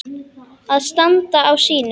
Að standa á sínu